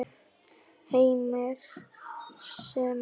Heimir: Sem er?